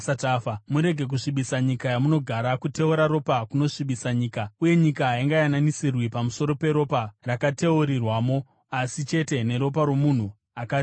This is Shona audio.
“ ‘Murege kusvibisa nyika yamunogara. Kuteura ropa kunosvibisa nyika, uye nyika haingayananisirwi pamusoro peropa rakateurirwamo, asi chete neropa romunhu akariteura.